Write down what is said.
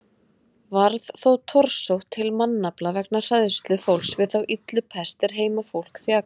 Varð þó torsótt til mannafla vegna hræðslu fólks við þá illu pest er heimafólk þjakaði.